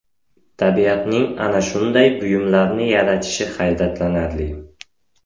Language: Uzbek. Tabiatning ana shunday buyumlarni yaratishi hayratlanarli!